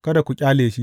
Kada ku ƙyale shi.